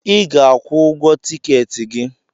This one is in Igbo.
I ga-akwụ ụgwọ tikeeti gi